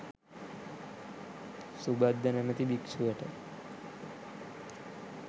සුභද්ද නමැති භික්‍ෂුවට